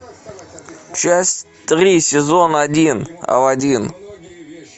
часть три сезон один алладин